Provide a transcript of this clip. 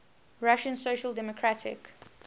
russian social democratic